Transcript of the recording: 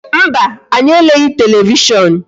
Mba, anyi eleghị televishon